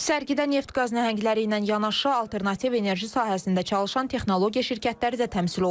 Sərgidə neft-qaz nəhəngləri ilə yanaşı alternativ enerji sahəsində çalışan texnologiya şirkətləri də təmsil olunur.